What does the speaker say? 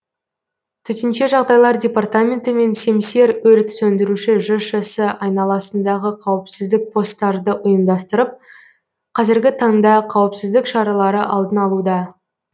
төтенше жағдайлар департаменті мен семсер өрт сөндіруші жшс айналасындағы қауіпсіздік посттарды ұйымдастырып қазіргі таңда қауіпсіздік шаралары алдын алуда